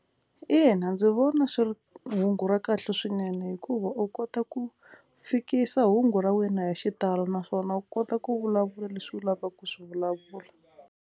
Ina ndzi vona swi ri hungu ra kahle swinene hikuva u kota ku fikisa hungu ra wena hi xitalo naswona u kota ku vulavula leswi u lavaka ku swi vulavula.